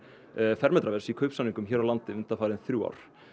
fermetraverðs í kaupsamningum hér á landi undanfarin þrjú ár